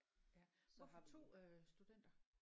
Ja hvorfor 2 øh studenter